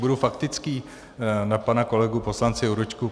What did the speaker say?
Budu faktický na pana kolegu poslance Jurečku.